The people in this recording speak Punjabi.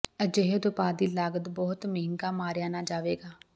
ਅਜਿਹੇ ਉਤਪਾਦ ਦੀ ਲਾਗਤ ਬਹੁਤ ਮਹਿੰਗਾ ਮਾਰਿਆ ਨਾ ਜਾਵੇਗਾ